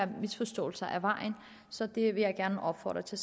misforståelser af vejen så det vil jeg gerne opfordre til